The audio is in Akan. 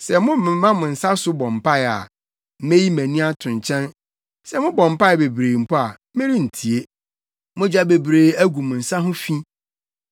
Sɛ momema mo nsa so bɔ mpae a, meyi mʼani ato nkyɛn. Sɛ mobɔ mpae bebree mpo a merentie. “Mogya bebree agu mo nsa ho fi.